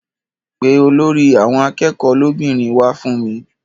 Pe olórí àwọn akẹ́kọ̀ọ́ lóbìnrin wá fún mi.